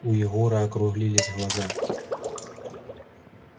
у егора округлились глаза